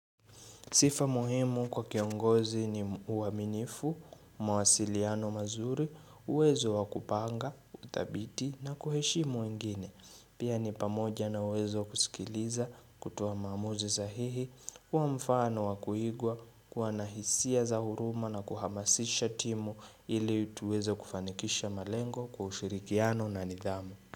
Sifa muhimu kwa kiongozi ni uaminifu, mawasiliano mazuri, uwezo wakupanga, uthabiti na kuheshimu wengine. Pia ni pamoja na uwezo wa kusikiliza kutoa maamuzi sahihi, kuamfano wakuigwa, kuwana hisia za huruma na kuhamasisha timu ili tuweze kufanikisha malengo kwa ushirikiano na nidhamu.